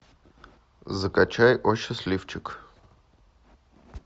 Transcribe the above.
закачай о счастливчик